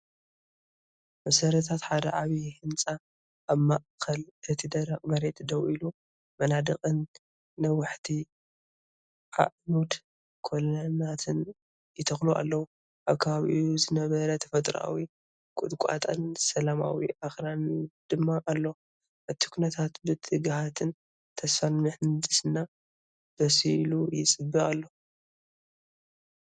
መሰረታት ሓደ ዓቢይ ህንጻ ኣብ ማእከል እቲ ደረቕ መሬት ደው ኢሉ፣ መናድቕን ነዋሕቲ ኣዕኑድ/ኮለናትን ይተኽሉ ኣለዉ፣ ኣብ ከባቢኡ ዝነበረ ተፈጥሮኣዊ ቁጥቋጥን ሰላማዊ ኣኽራንን ድማ ኣሎ። እቲ ኩነታት ብትግሃትን ተስፋን ምህንድስና በሲሉ ይፅበ ኣሎ።